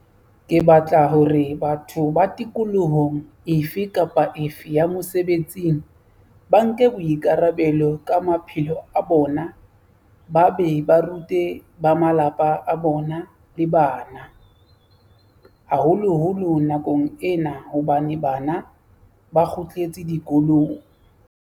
Ke batla hore batho ba tikolohong efe kapa efe ya mosebetsing ba nke boikara-belo ka maphelo a bona ba be ba rute ba malapa a bona le bana, haholoholo nakong ena hobane bana ba kgutletse dikolong.